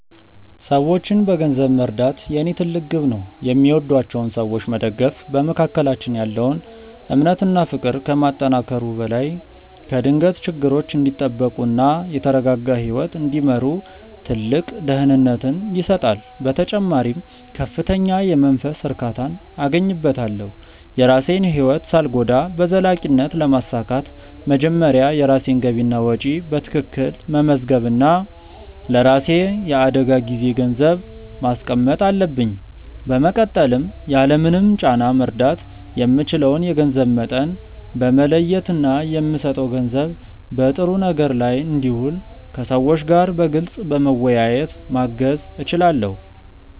ሰዎችን በገንዘብ መርዳት የኔ ትልቅ ግብ ነው። የሚወዷቸውን ሰዎች መደገፍ በመካከላችን ያለውን እምነት እና ፍቅር ከማጠናከሩ በላይ ከድንገተኛ ችግሮች እንዲጠበቁ እና የተረጋጋ ህይወት እንዲመሩ ትልቅ ደህንነትን ይሰጣል። በተጨማሪም ከፍተኛ የመንፈስ እርካታን አገኝበታለሁ። የራሴን ህይወት ሳልጎዳ በዘላቂነት ለማሳካት መጀመሪያ የራሴን ገቢና ወጪ በትክክል መመዝገብ እና ለራሴ የአደጋ ጊዜ ገንዘብ ማስቀመጥ አለብኝ። በመቀጠልም ያለምንም ጫና መርዳት የምችለውን የገንዘብ መጠን በመለየት እና የምሰጠው ገንዘብ በጥሩ ነገር ላይ እንዲውል ከሰዎቹ ጋር በግልፅ በመወያየት ማገዝ እችላለሁ።